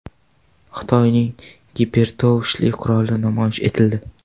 Xitoyning gipertovushli quroli namoyish etildi .